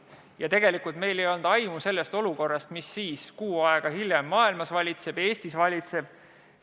Ja tegelikult meil ei olnud aimu ka olukorrast, mis kuu aega hiljem Eestis ja kogu maailmas valitsema hakkas.